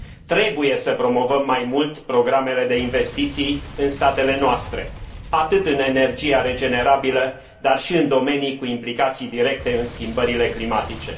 Trebuie să promovăm mai mult programele de investiții în statele noastre, atât în energia regenerabilă, dar și în domenii cu implicații directe în schimbările climatice.